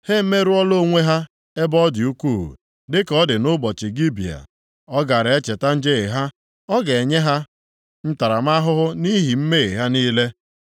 Ha emerụọla onwe ha ebe ọ dị ukwuu, dịka ọ dị nʼụbọchị Gibea. Ọ ga-echeta njehie ha. Ọ ga-enye ha ntaramahụhụ nʼihi mmehie ha niile.